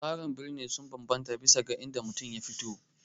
Tsarin bisina sun bambanta bisa ga inda mutum ya fito